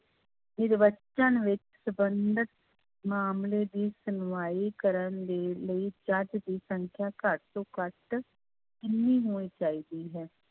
ਸੰਬੰਧਿਤ ਮਾਮਲੇ ਦੀ ਸੁਣਵਾਈ ਕਰਨ ਦੇ ਲਈ ਜੱਜ ਦੀ ਸੰਖਿਆ ਘੱਟ ਤੋਂ ਘੱਟ ਕਿੰਨੀ ਹੋਣੀ ਚਾਹੀਦੀ ਹੈ?